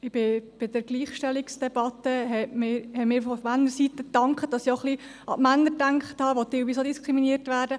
Bei der Gleichstellungsdebatte hat man mir von Männerseite dafür gedankt, dass ich auch ein wenig an die Männer gedacht habe, die teilweise auch diskriminiert werden.